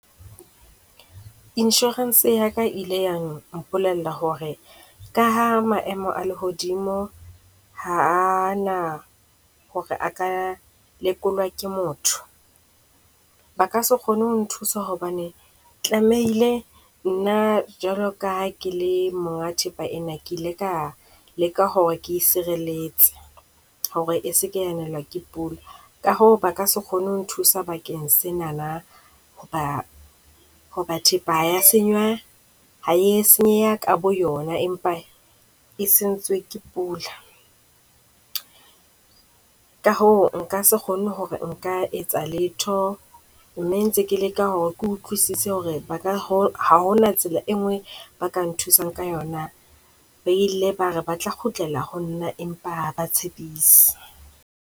Inshorense ya ka ile ya mpolella hore ka ha maemo a lehodimo ha a na hore a ka lekolwa ke motho, ba ka se kgone ho nthusa hobane tlamehile nna jwalo ka ha ke le monga thepa ena, ke ile ka leka hore ke sireletse. Hore e se ke ya nelwa ke pula ka hoo ba ka se kgone ho nthusa bakeng senana, hoba thepa ya ha e a senywa ke, ha e senyeha ka boyona empa e sentsewe ke pula. Ka hoo nka se kgone hore nka etsa letho. Mme ke ntse ke leka hore ke utlwisise hore ba ka ha hona tsela e nngwe eo ba ka nthusang ka yona na. Ba ile ba re ba tla kgutlela ho nna empa ha ba tshepise.